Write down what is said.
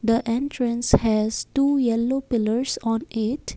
the entrance has two yellow pillars on it.